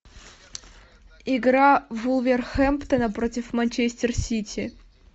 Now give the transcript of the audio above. игра вулверхэмптона против манчестер сити